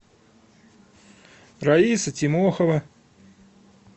раиса тимохова